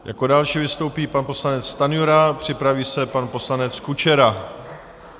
Jako další vystoupí pan poslanec Stanjura, připraví se pan poslanec Kučera.